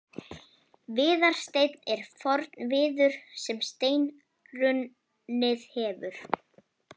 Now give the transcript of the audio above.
Viðarsteinn er forn viður sem steinrunnið hefur.